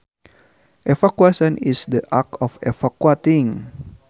Evacuation is the act of evacuating